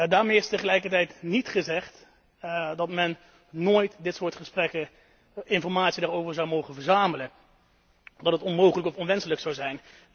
Daarmee is tegelijkertijd niet gezegd dat men nooit dit soort informatie daarover zou mogen verzamelen, dat dit onmogelijk of onwenselijk zou zijn.